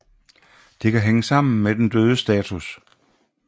Det kan hænge sammen med den dødes status